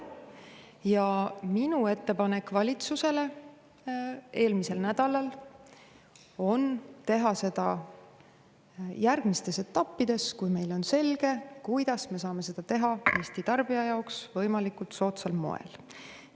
Ja minu ettepanek valitsusele eelmisel nädalal oli teha seda järgmistes etappides, kui meile on selge, kuidas me saame kõike teha Eesti tarbija jaoks võimalikult soodsal moel.